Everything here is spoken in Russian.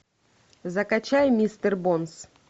закачай мистер бонс